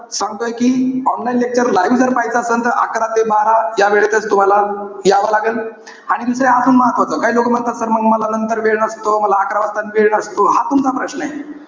सांगतोय कि online lecture live जर पाहायचं असेल तर, अकरा ते बारा यावेळेतच तुम्हाला यावं लागेल. आणि दुसरं अजून महत्वाचं, काही लोकं म्हणतात, sir मग मला नंतर वेळ नसतो. मला अकरा वाजताच वेळ नसतो. हा तुमचा प्रश्नय.